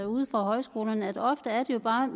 ude fra højskolerne viser at ofte er det bare et